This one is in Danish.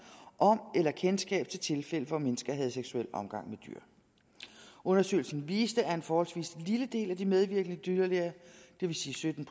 om eller kendskab til tilfælde hvor mennesker havde seksuel omgang med dyr undersøgelsen viste at en forholdsvis lille del af de medvirkende dyrlæger det vil sige sytten